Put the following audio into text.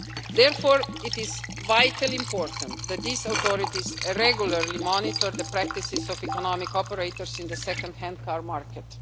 authorities. Therefore, it is vitally important that these authorities regularly monitor the practices of economic operators in the second hand